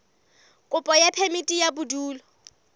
kopo ya phemiti ya bodulo